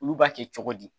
Olu b'a kɛ cogo di